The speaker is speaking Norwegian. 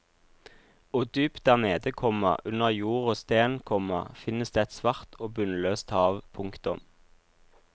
Og dypt der nede, komma under jord og sten, komma finnes det et svart og bunnløst hav. punktum